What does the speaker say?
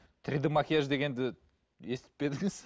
три д макияж дегенді естіп пе едіңіз